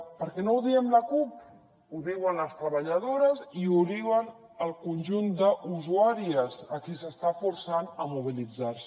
perquè no ho diem la cup ho diuen les treballadores i ho diu el conjunt d’usuàries a qui s’està forçant a mobilitzar se